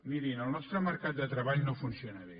mirin el nostre mercat de treball no funciona bé